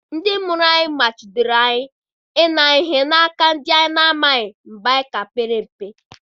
Ndị mụrụ anyị machidoro anyị ị nara ihe na aka ndị anyị na-amaghị mgbe anyị ka pere mpe.